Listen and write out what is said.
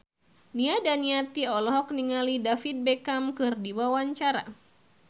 Nia Daniati olohok ningali David Beckham keur diwawancara